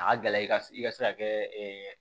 A ka gɛlɛ i ka i ka se ka kɛ